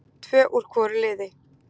Tvö úr hvoru liði.